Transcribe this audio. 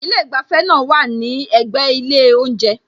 Ilé ìgbafẹ́ náà wá à ní ẹ̀gbẹ́ ilé oúnjẹ